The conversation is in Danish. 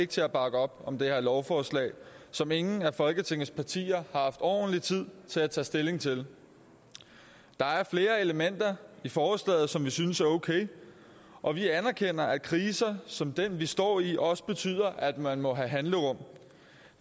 til at bakke op om det her lovforslag som ingen af folketingets partier har haft ordentlig tid til at tage stilling til der er flere elementer i forslaget som vi synes er okay og vi anerkender at kriser som den vi står i også betyder at man må have handlerum